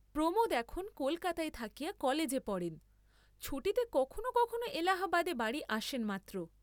প্রমোদ এখন কালকাতায় থাকিয়া কলেজে পড়েন, ছুটীতে কখনও কথনও এলাহাবাদে বাড়ী আসেন মাত্র।